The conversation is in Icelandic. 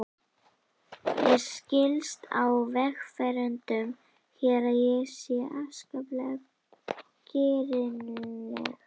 Mér skilst á vegfarendum hér að ég sé afskaplega girnileg.